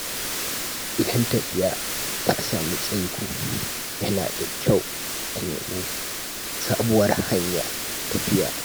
Idan tafiya ta sami tsaiko, yana da kyau a nemi sabuwar hanyar tafiya.